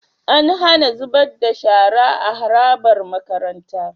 An HAna zubar da shara a harabar makaranta